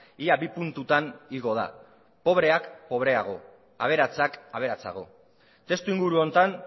ia bi puntutan igo da pobreak pobreago aberatsak aberatsago testuinguru honetan